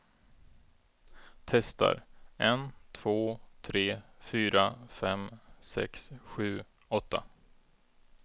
Testar en två tre fyra fem sex sju åtta.